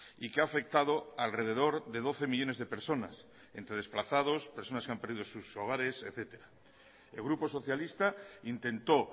y que ha afectado a alrededor de doce millónes de personas entre desplazados personas que han perdido sus hogares etcétera el grupo socialista intentó